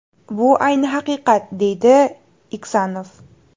Bu ayni haqiqat”, deydi Iksanov.